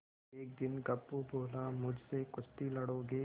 एक दिन गप्पू बोला मुझसे कुश्ती लड़ोगे